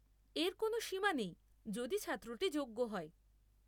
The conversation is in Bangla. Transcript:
এর কোনও সীমা নেই যদি ছাত্রটি যোগ্য হয়।